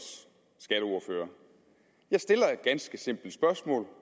skatteordfører jeg stiller et ganske simpelt spørgsmål